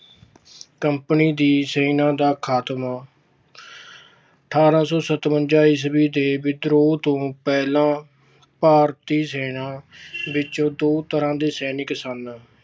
company ਦੀ ਸੈਨਾ ਦਾ ਖਾਤਮਾ- ਅਠਾਰਾਂ ਸੌ ਸਤਵੰਜਾ ਈਸਵੀ ਦੇ ਵਿਦਰੋਹ ਤੋਂ ਪਹਿਲਾਂ ਭਾਰਤੀ ਸੈਨਾ ਵਿੱਚ ਦੋ ਤਰ੍ਹਾਂ ਦੇ ਸੈਨਿਕ ਸਨ।